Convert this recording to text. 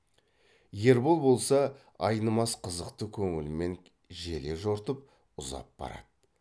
ербол болса айнымас қызықты көңілмен желе жортып ұзап барады